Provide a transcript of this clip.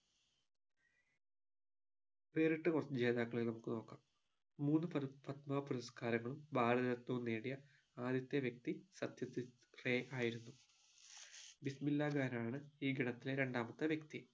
വേറിട്ട കൊറച്ചു ജേതാക്കളെ നമുക്ക് നോക്കാം മൂന്നു പര പത്മ പുരസ്കാരങ്ങളും ഭാരതരത്നവും നേടിയ ആദ്യത്തെ വ്യക്തി സത്യജിത് റേ ആയിരുന്നു ബിസ്മില്ലാ ഖാൻ ആണ് ഈ ഗണത്തിലെ രണ്ടാമത്തെ വ്യക്തി